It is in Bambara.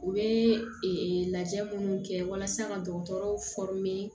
U bɛ lajɛ minnu kɛ walasa ka dɔgɔtɔrɔw